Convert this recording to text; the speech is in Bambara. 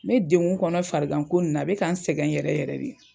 Ne degun kɔnɔ farigan ko nin na a bɛ ka n sɛgɛn yɛrɛ yɛrɛ de.